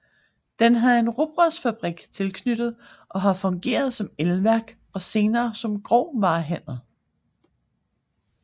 Den havde en rugbrødsfabrik tilknyttet og har fungeret som elværk og senere som grovvarehandel